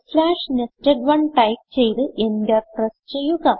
nested1 type ചെയ്ത് enter press ചെയ്യുക